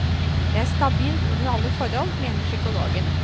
Det er stabilt under alle forhold, mener psykologen.